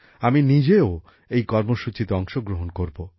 আমি নিজেও এই কর্মসূচিতে অংশগ্রহণ করব